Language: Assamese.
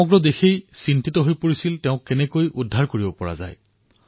সমগ্ৰ দেশ টোমীক কিদৰে বচোৱা যায় তাৰ বাবে উদ্বিগ্ন হৈ আছিল